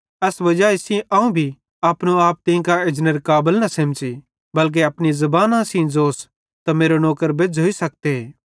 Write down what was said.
एस्से वजाई सेइं अवं भी अपनो आप तीं कां एजनेरे काबल न सेमझ़ी बल्के अपनी ज़बानी सेइं ज़ोस त मेरो नौकर बेज़्झ़ोइ सखते